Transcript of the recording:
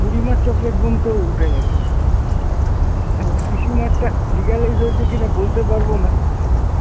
বুড়িমার chocolate bomb তো উঠে গেছে, এখন পিসিমার টা legalize হয়েছে কিনা বলতে পারবো না .